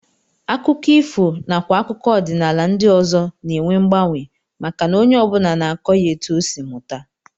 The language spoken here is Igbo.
Akụkọ ifo nakwa akụkọ ọdịnala ndị ọzọ na-enwe mgbanwe maka na onye ọ bụla na-akọ ya etu o si mụta